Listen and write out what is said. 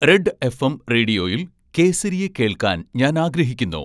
red FM റേഡിയോയിൽ കേസരിയ കേൾക്കാൻ ഞാൻ ആഗ്രഹിക്കുന്നു